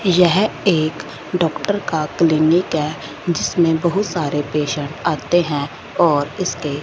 यह एक डॉक्टर का क्लीनिक है जिसमें बहुत सारे पेशेंट आते हैं और इसके--